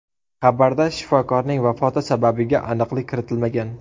Xabarda shifokorning vafoti sababiga aniqlik kiritilmagan.